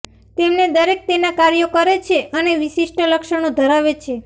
તેમને દરેક તેના કાર્યો કરે છે અને વિશિષ્ટ લક્ષણો ધરાવે છે